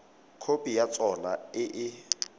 khopi ya sona e e